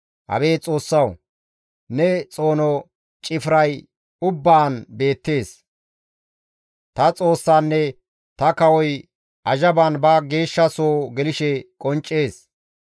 Abeet Xoossawu! Ne xoono cifray ubbaan beettees; ta Xoossanne ta kawoy azhaban ba geeshsha soo gelththishe qonccees.